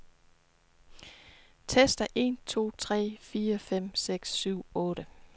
Tester en to tre fire fem seks syv otte.